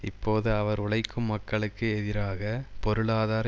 இப்போது அவர் உழைக்கும் மக்களுக்கு எதிராக பொருளாதார